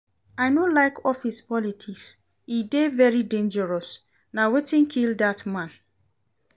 I no like office politics, e dey very dangerous, na wetin kill dat man.